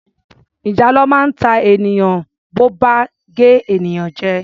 Ìjàlọ máa ń ta ènìyàn bo bá gé ènìyàn jẹ.